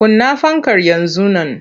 Kunna fankar yanzu nan!